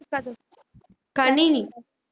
கணினி